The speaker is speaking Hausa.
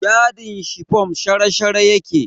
Yadin shifom shara-shara yake